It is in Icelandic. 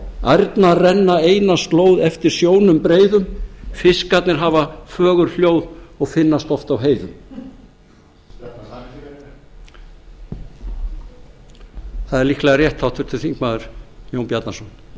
ærnar renna eina slóð eftir sjónum breiðum fiskarnir hafa fögur hljóð og finnast oft á heiðum það er líklega rétt háttvirtur þingmaður jón bjarnason